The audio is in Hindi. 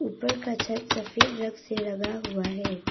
ऊपर का छत सफेद रंग से रंगा हुआ है।